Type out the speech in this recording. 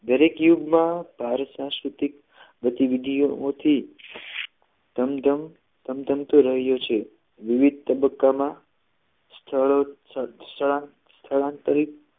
દરેક યુગમાં ભારતીય સાંસ્કૃતિક બધી વિધિઓ માંથી ધમ ધમ ધમ રહ્યું છે અને વિવિધ તબક્કામાં સ્થળ સ્થળાંતર